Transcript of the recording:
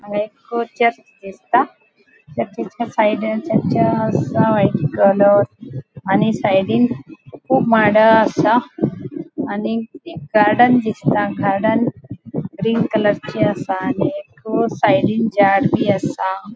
हांगा एक चर्च दिसता चर्चीच्या साइडीन आणि साइडीन कुब माडा आसा आणि गार्डन दिसता गार्डन ग्रीन कलरचे आसा आणि एक साइडीन झाड बी आसा.